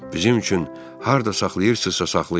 Bizim üçün harda saxlayırsınızsa saxlayın.